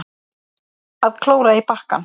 Að klóra í bakkann